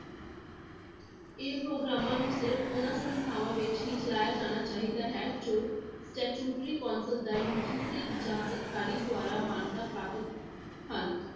ਇਹ ਪ੍ਰੋਗਰਾਮਾਂ ਨੂੰ ਸਿਰਫ਼ ਉਹਨਾਂ ਸੰਸਥਾਵਾਂ ਵਿੱਚ ਹੀ ਚਲਾਇਆ ਜਾਣਾ ਚਾਹੀਦਾ ਹੈ ਜੋ statutory council ਜਾਂ UGC ਜਾਂ ਸਰਕਾਰੀ ਦੁਆਰਾ ਮਾਨਤਾ ਪ੍ਰਾਪਤ ਹਨ।